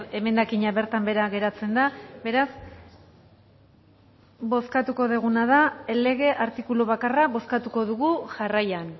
emendakina bertan bera geratzen da beraz bozkatuko duguna da lege artikulu bakarra bozkatuko dugu jarraian